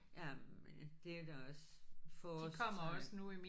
Jamen det er da også forårstegn